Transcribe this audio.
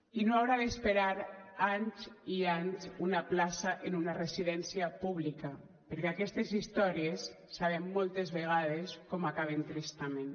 i no haurà d’esperar anys i anys una plaça en una residència pública perquè aquestes històries sabem moltes vegades com acaben tristament